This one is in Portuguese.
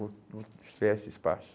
Vou, vou criar esse espaço.